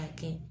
A kɛ